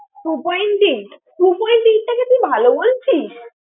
two point eight, two point eight টাকে তুই ভালো বলছিস?